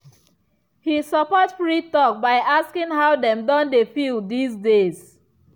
he support free talk by asking how dem don dey feel these days.